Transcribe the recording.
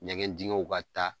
Ɲɛgɛn dingɛw ka taa